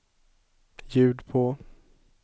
ljud på